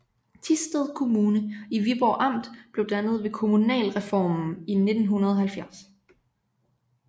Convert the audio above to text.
Thisted Kommune i Viborg Amt blev dannet ved kommunalreformen i 1970